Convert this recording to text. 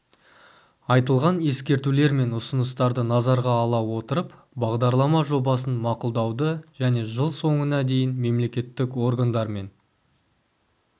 айтылған ескертулер мен ұсыныстарды назарға ала отырып бағдарлама жобасын мақұлдауды және жыл соңына дейін мемлекеттік органдармен